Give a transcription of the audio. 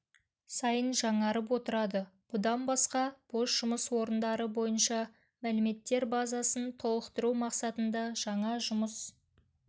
сайын жаңарып отырады бұдан басқа бос жұмыс орындары бойынша мәліметтер базасын толықтыру мақсатында жаңа жұмыс